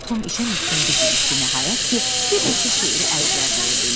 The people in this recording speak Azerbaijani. Tom işə möhkəmcə girişdi, nəhayət ki, bir neçə şeiri əzbərləyə bildi.